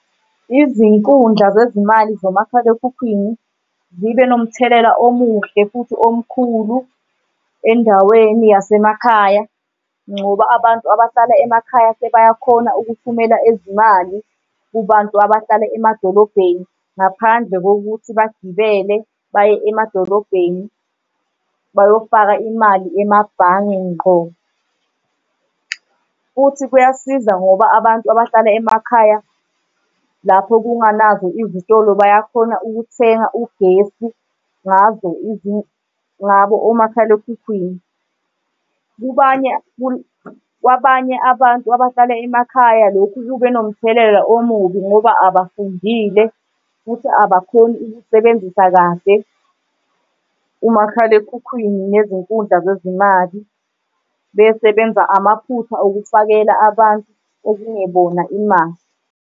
Izinkundla zezimali nomakhalekhukhwini zibe nomthelela omuhle futhi omkhulu endaweni yasemakhaya ngoba abantu abahlala emakhaya sebayakhona ukuthumela izimali kubantu abahlala emadolobheni ngaphandle kokuthi bagibele baye emadolobheni bayofaka imali emabhange ngqo. Futhi kuyasiza ngoba abantu abahlala emakhaya lapho kunganazo izitolo bayakhona ukuthenga ugesi ngazo ngabo omakhalekhukhwini. Kubanye kwabanye abantu abahlala emakhaya lokhu kube nomthelela omubi ngoba abafundile futhi abakhoni ukusebenzisa kahle umakhalekhukhwini nezinkundla zezimali, besebenza amaphutha okufakela abantu okungebona imali.